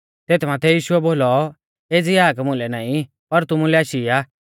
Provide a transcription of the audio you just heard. तेथ माथै यीशुऐ बोलौ एज़ी हाक मुलै नाईं पर तुमुलै आशी आ